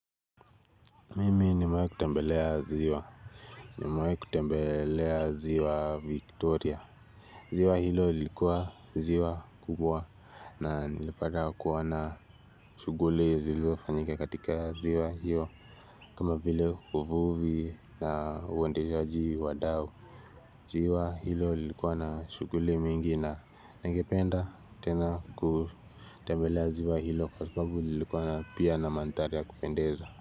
Mimi nimewahi kutembelea ziwa, nimewahi kutembelea ziwa Victoria, ziwa hilo lilikuwa ziwa kubwa na nilipata kuona shughuli zilizofanyika katika ziwa hiyo kama vile uvuvi na uendeshaji wa dau, ziwa hilo lilikuwa na shughuli mingi na ningependa tena kutembelea ziwa hilo kwa sababu ilikuwa na pia na mandhari ya kupendeza.